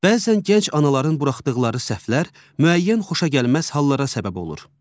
Bəzən gənc anaların buraxdıqları səhvlər müəyyən xoşagəlməz hallara səbəb olur.